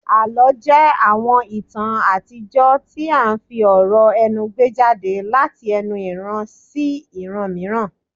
Àlọ́ jẹ́ àwọn ìtàn àtijọ́ tí à ń fi ọ̀rọ̀ ẹnu gbé jáde láti ẹnu ìran sí ìran mìíràn